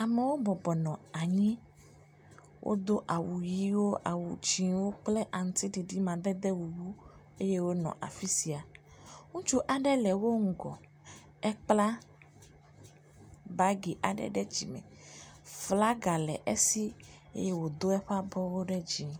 Amewo bɔbɔ nɔ anyi. Wodo awu ʋi, awu dzɛ̃wo kple aŋutiɖiɖi amadede bubu eye wonɔ afi sia. Ŋutsu aɖe le wo ŋgɔ. Ekpla bagi aɖe ɖe dzi. Flaga le esi eye wodo eƒe abɔwo ɖe.